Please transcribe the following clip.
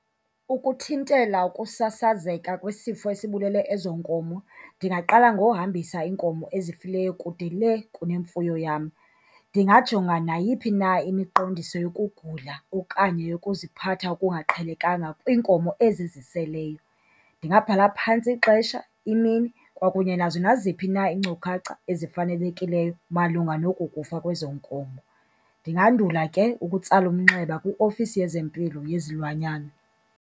Ukuthintela ukusasazeka kwisifo esibulele ezoo nkomo, ndingaqala ngohambisa iinkomo ezifileyo kude lee kunemfuyo yam. Ndingajonga nayiphi na imiqondiso yokugula okanye yokuziphatha okungaqhelekanga kwiinkomo ezi ziseleyo. Ndingabhala phantsi ixesha, imini kwakunye nazo naziphi na iinkcukacha ezifanelekileyo malunga noko kufa kwezoo nkomo. Ndingandula ke ukutsala umnxeba kwiofisi yezempilo yezilwanyana.